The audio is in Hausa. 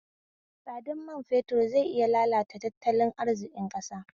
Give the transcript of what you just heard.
Tsadar mai fetur zai iya lalata tattalin arziƙin ƙasa